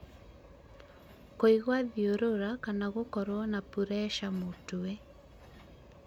kũigua thiũrũra kana gũkorwo na pureca mũtwe